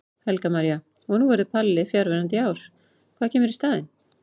Helga María: Og nú verður Palli fjarverandi í ár, hvað kemur í staðinn?